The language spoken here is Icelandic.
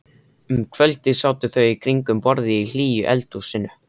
Um kvöldið sátu þau í kringum borðið í hlýju eldhúsinu.